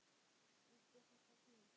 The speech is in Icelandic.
Víst er þetta snilld.